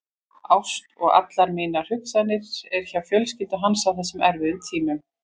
Ást og allar mínar hugsanir er hjá fjölskyldu hans á þessum erfiðu tímum.